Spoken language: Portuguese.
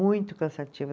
Muito cansativo.